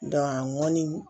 a ŋɔni